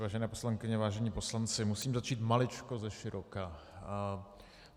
Vážené poslankyně, vážení poslanci, musím začít maličko ze široka.